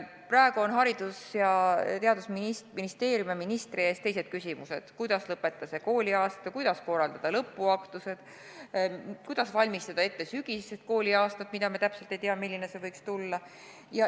Praegu on Haridus- ja Teadusministeeriumi ja ministri ees hoopis teised küsimused: kuidas lõpetada see kooliaasta, kuidas korraldada lõpuaktused, kuidas valmistada ette sügisest kooliaastat, mille kohta me täpselt ei tea, milline see võiks tulla.